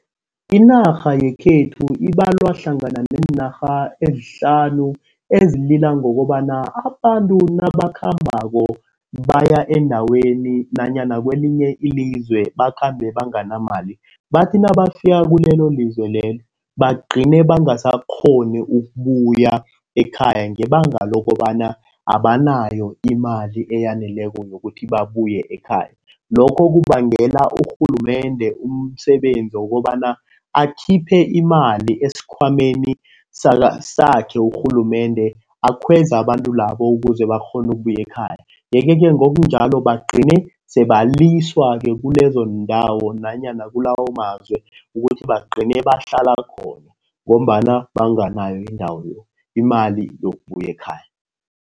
Inarha yekhethu ibalwa hlangana neenarha ezihlanu ezilila ngokobana abantu nabakhambako baya endaweni nanyana kwelinye ilizwe bakhambe banganamali. Bathi nabafika kulelo lizwe lelo bagcine bangasakghoni ukubuya ekhaya ngebanga lokobana abanayo imali eyaneleko, yokuthi babuye ekhaya. Lokho kubangela urhulumende umsebenzi wokobana akhiphe imali esikhwameni sakhe urhulumende akhweza abantu labo ukuze bakghone ukubuya ekhaya. Yeke-ke ngokunjalo bagcine sebaliswa kulezondawo nanyana kulawo mazwe ukuthi bagcine bahlala khona ngombana banganayo indawo, imali yokubuyela ekhaya.